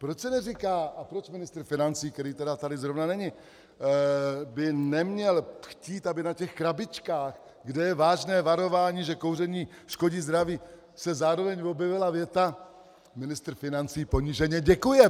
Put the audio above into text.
Proč se neříká a proč ministr financí, který tedy tady zrovna není, by neměl chtít, aby na těch krabičkách, kde je vážné varování, že kouření škodí zdraví, se zároveň objevila věta: ministr financí poníženě děkuje?